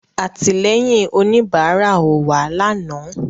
Àtìlẹ́yìn òníbárà ò wá lànàá